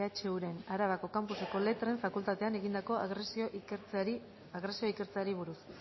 ehuren arabako campuseko letren fakultatean egindako agresioa ikertzeari buruz